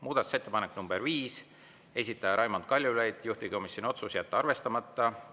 Muudatusettepanek nr 5, esitaja Raimond Kaljulaid, juhtivkomisjoni otsus: jätta arvestamata.